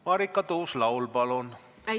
Marika Tuus-Laul, palun!